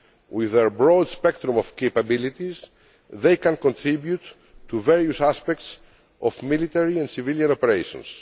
with their broad spectrum of capabilities, they can contribute to various aspects of military and civilian operations.